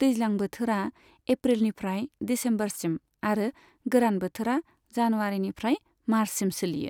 दैज्लां बोथोरा एप्रिलनिफ्राय दिसेम्बरसिम आरो गोरान बोथोरा जानुवारिनिफ्राय मार्चसिम सोलियो।